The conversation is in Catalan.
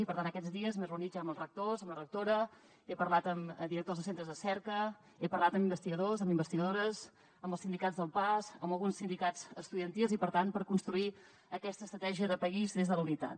i per tant aquests dies m’he reunit ja amb els rectors amb la rectora he parlat amb directors de centres de cerca he parlat amb investigadors amb investigadores amb els sindicats del pas amb alguns sindicats estudiantils i per tant per construir aquesta estratègia de país des de la unitat